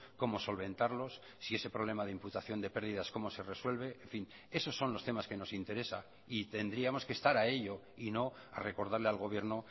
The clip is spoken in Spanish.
cómo solventarlos si ese problema de imputación de pérdidas cómo se resuelve en fin esos son los temas que nos interesa y tendríamos que estar a ello y no a recordarle al gobierno